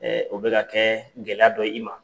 o bɛ ka kɛɛ gɛlɛya dɔ ye i ma.